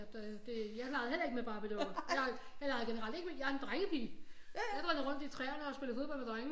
Jeg legede heller ikke med Barbiedukker jeg legede generelt ikke med jeg er en drengepige jeg drønede rundt i træerne og spillede fodbold med drengene